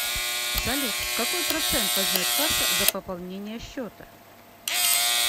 салют какой процент возьмет касса за пополнение счета